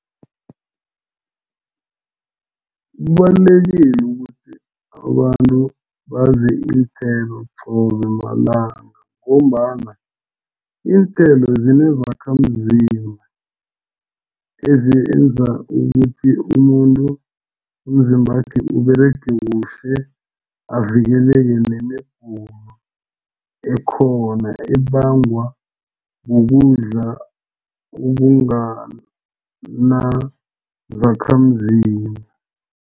Kubalulekile ukuthi abantu badle iinthelo qobe malanga ngombana iinthelo zinezakhamzimba ezenza ukuthi umuntu umzimbakhe Uberege kuhle avikeleke nemigulo ekhona abangwa kukudla okungana zakhamzimba.